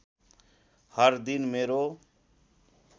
हर दिन मेरो